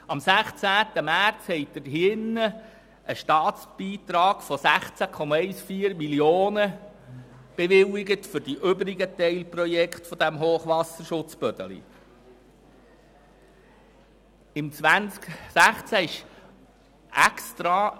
Am 16. März haben Sie in diesem Saal einen Staatsbeitrag von 16,14 Mio. Franken für die übrigen Teilprojekte des Hochwasserschutzes Bödeli bewilligt.